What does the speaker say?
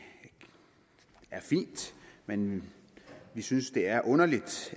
er fint men vi synes det er underligt